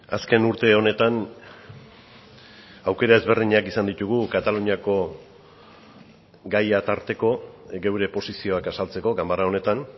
azken urte honetan aukera ezberdinak izan ditugu kataluniako gaia tarteko gure posizioak azaltzeko ganbara honetan